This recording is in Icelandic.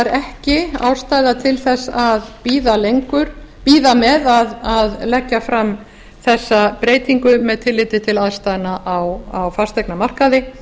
ekki ástæða til þess að bíða með að leggja fram þessa breytingu með tilliti til aðstæðna á fasteignamarkaði